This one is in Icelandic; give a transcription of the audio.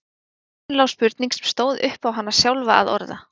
Í loftinu lá spurning sem stóð upp á hana sjálfa að orða.